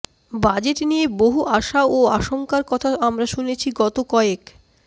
budget নিয়ে বহু আশা ও আশঙ্কার কথা আমরা শুনছি গত কয়েক